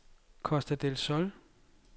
Costa del Sol